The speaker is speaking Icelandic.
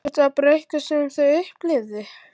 Þetta var bara eitthvað sem þau upplifðu.